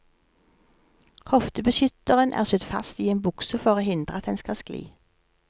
Hoftebeskytteren er sydd fast i en bukse for å hindre at den skal skli.